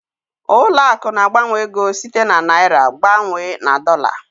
Ụlọ akụ̀ na-agbanwe ego site na naịra gbanwee na dọla.